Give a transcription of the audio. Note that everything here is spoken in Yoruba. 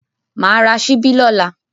Mà ra ṣíbí lọ́la.